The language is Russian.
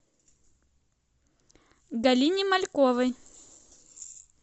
галине мальковой